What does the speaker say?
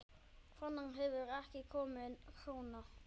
Þaðan hefur ekki komið króna.